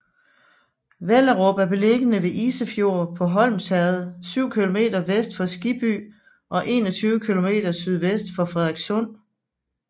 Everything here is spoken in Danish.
Vellerup er beliggende ved Isefjord på Hornsherred syv kilometer vest for Skibby og 21 kilometer sydvest for Frederikssund